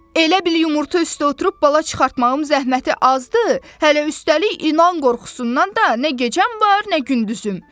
Elə bil yumurta üstə oturub bala çıxartmağım zəhməti azdır, hələ üstəlik ilan qorxusundan da nə gecəm var, nə gündüzüm.